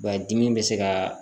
Ba dimi bɛ se ka